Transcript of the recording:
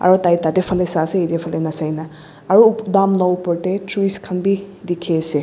aru tai tate phane sai ase yate phane na sia kena aru dam la opor te trees khan bi dikhi ase.